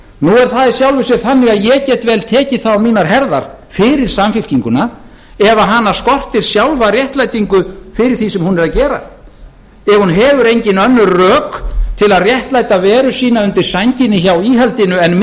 nú það í sjálfu sér þannig að ég get vel tekið það á mínar herðar fyrir samfylkinguna ef hana skortir sjálfa réttlætingu fyrir því sem hún er að gera ef hún hefur engin önnur rök til að réttlæta veru sína undir sænginni hjá íhaldinu en